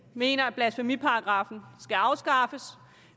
mener at blasfemiparagraffen skal afskaffes